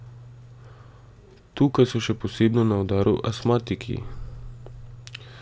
Tukaj so še posebno na udaru astmatiki.